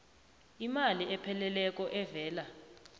imali epheleleko evela